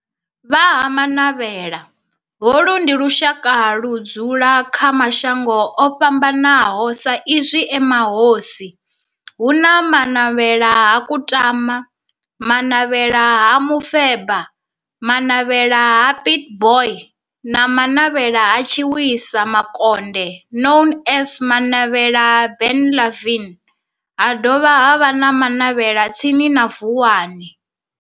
Vha Ha-Manavhela, holu ndi lushaka ludzula kha mashango ofhambanaho sa izwi e mahosi, hu na Manavhela ha Kutama, Manavhela ha Mufeba, Manavhela ha Pietboi na Manavhela ha Tshiwisa Mukonde known as Manavhela Benlavin, ha dovha havha na Manavhela tsini na Vuwani.